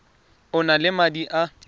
o na le madi a